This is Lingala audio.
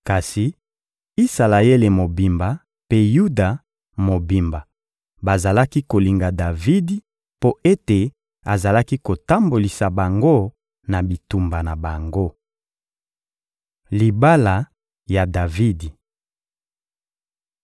Kasi Isalaele mobimba mpe Yuda mobimba bazalaki kolinga Davidi mpo ete azalaki kotambolisa bango na bitumba na bango. Libala ya Davidi